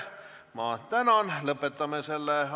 Ma tänan!